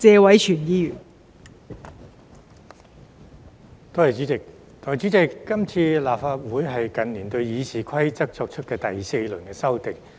代理主席，這次是立法會近年對《議事規則》作出的第四輪修訂。